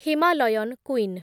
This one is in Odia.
Himalayan queen